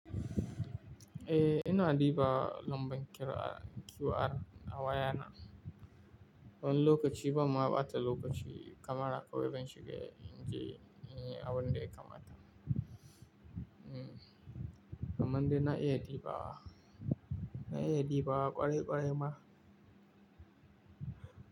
Eh, ina ɗiba lambar QR, QR a wayana. Wani lokaci ba ma bata lokaci kamara kawai ban shiga in ji abin da ya kamata. Hmm, kamar dai na iya ɗiba, na iya ɗiba ƙwarai ƙwarai ma.